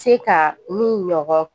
Se ka min ɲɔgɔn